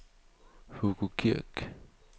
Hugo Kirk